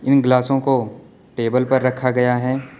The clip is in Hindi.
इन गिलासों को टेबल पर रखा गया है।